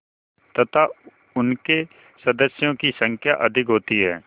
तथा उनके सदस्यों की संख्या अधिक होती है